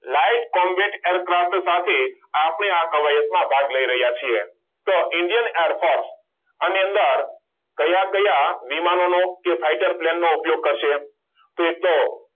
light combat aircraft સાથે આપણે આ કવાયતમાં ભાગ લઈ રહ્યા છે તો indian airforce આની અંદર કયા કયા વિમાનોનો કે flighter પેન નો ઉપયોગ કરશે કેટલો